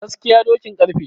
Gaskiya dokin karfe